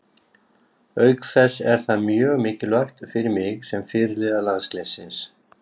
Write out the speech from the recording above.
Auk þess er það mjög mikilvægt fyrir mig sem fyrirliða landsliðsins.